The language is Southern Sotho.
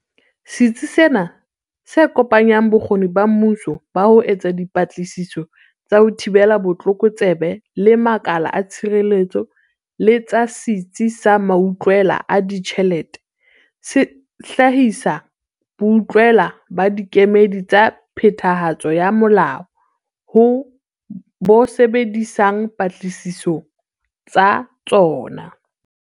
Setsi sena se kopanya bokgoni ba mmuso ba ho etsa dipatlisiso tsa ho thibela botlokotsebe le makala a tshireletso le tsa Setsi sa Mautlwela a Ditjhelete, se hlahisang boutlwela ba dikemedi tsa phethahatso ya molao ho bo sebedisa patlisisong tsa tsona.